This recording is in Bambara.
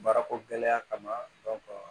Baarako gɛlɛya kama